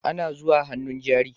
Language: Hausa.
Ana zuwa hannun jari